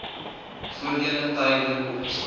voordele tydelik opgeskort